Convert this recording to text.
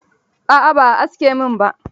A'a ba a aske min ba.